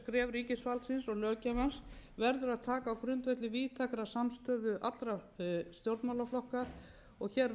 ríkisvaldsins og löggjafans verður að taka á grundvelli víðtækrar samstöðu allra stjórnmálaflokka og hér verða stjórn og